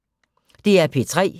DR P3